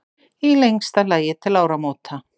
Í lengsta lagi til áramóta.